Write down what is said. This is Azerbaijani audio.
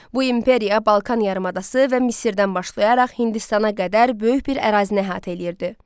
Bu imperiya Balkan yarımadası və Misirdən başlayaraq Hindistana qədər böyük bir ərazini əhatə eləyirdi.